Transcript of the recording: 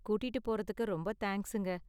கூட்டிட்டு போறதுக்கு ரொம்ப தேங்க்ஸுங்க.